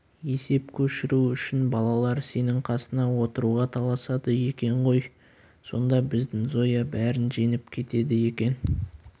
есеп көшіру үшін балалар сенің қасыңа отыруға таласады екен ғой сонда біздің зоя бәрін жеңіп кетеді екен